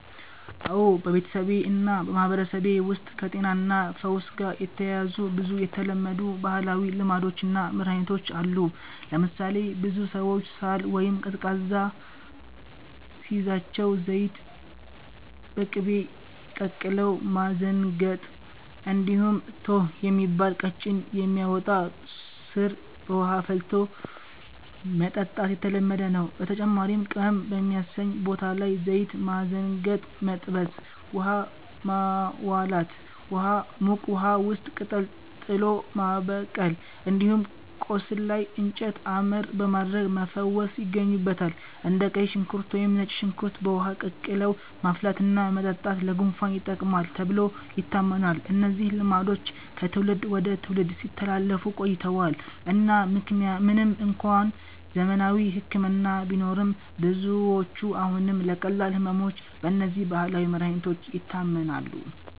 አዎ፣ በቤተሰቤ እና በማህበረሰቤ ውስጥ ከጤናና ፈውስ ጋር የተያያዙ ብዙ የተለመዱ ባህላዊ ልማዶች እና መድኃኒቶች አሉ። ለምሳሌ ብዙ ሰዎች ሳል ወይም ቀዝቃዛ ሲይዛቸው ዘይት በቅቤ ቀቅለው ማዘንገጥ፣ እንዲሁም “ቶኅ” የሚባል ቀጭን የሚያወጣ ሥር በውሃ ፈልቶ መጠጣት የተለመደ ነው። በተጨማሪም ቅመም በሚያሰኝ ቦታ ላይ ዘይት በማዘንገጥ መጥበስ፣ “ውሃ ማዋላት” (ሙቅ ውሃ ውስጥ ቅጠል ጥሎ ማበቀል)፣ እንዲሁም ቆስል ላይ “እንጨት አመር” በማድረግ መፈወስ ይገኙበታል። እንደ ቀይ ሽንኩርት ወይም ነጭ ሽንኩርት በውሃ ቀቅለው ማፍላትና መጠጣት ለጉንፋን ይጠቅማል ተብሎ ይታመናል። እነዚህ ልማዶች ከትውልድ ወደ ትውልድ ሲተላለፉ ቆይተዋል እና ምንም እንኳን ዘመናዊ ሕክምና ቢኖርም፣ ብዙዎች አሁንም ለቀላል ሕመሞች በእነዚህ ባህላዊ መድኃኒቶች ይታመናሉ።